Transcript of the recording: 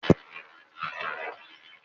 Ṣé o máa ṣiṣẹ́ bíi ìránsẹ́kùnrin ní ilé-ìtánjẹ kan?